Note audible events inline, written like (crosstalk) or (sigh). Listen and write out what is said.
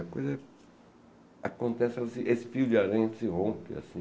A coisa acontece, (unintelligible) esse fio de aranha se rompe, assim.